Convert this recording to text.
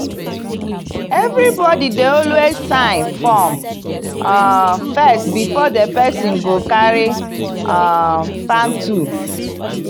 every body dey always sign form um first before di person go carry um farm tool.